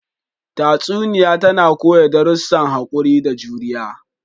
Tatsuniya tana koya darussan haƙuri da juriya.